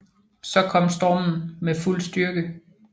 Så kom stormen med fuld styrke